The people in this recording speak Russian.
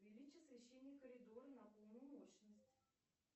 увеличь освещение коридора на полную мощность